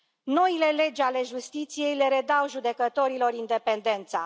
Noile legi ale justiției le redau judecătorilor independența.